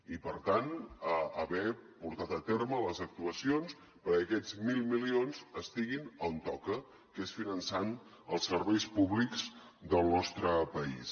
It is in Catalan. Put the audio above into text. i per tant haver portat a terme les actuacions perquè aquests mil milions estiguin on toca que és finançant els serveis públics del nostre país